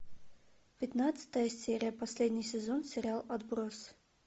пятнадцатая серия последний сезон сериал отбросы